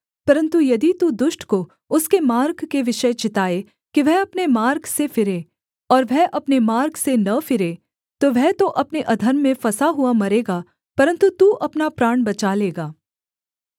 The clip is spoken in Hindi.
परन्तु यदि तू दुष्ट को उसके मार्ग के विषय चिताए कि वह अपने मार्ग से फिरे और वह अपने मार्ग से न फिरे तो वह तो अपने अधर्म में फँसा हुआ मरेगा परन्तु तू अपना प्राण बचा लेगा